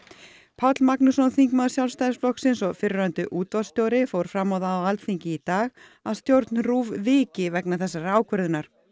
Páll Magnússon þingmaður Sjálfstæðisflokksins og fyrrverandi útvarpsstjóri fór fram á það á Alþingi í dag að stjórn RÚV viki vegna þessarar ákvörðunar